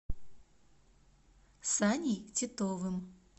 саней титовым